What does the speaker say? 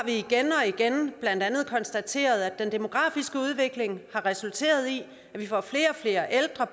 vi igen og igen blandt andet konstateret at den demografiske udvikling har resulteret i at vi får flere og flere ældre